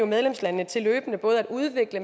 medlemslandene til løbende både at udvikle